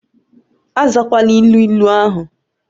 Azakwala ilu ịlu ahu!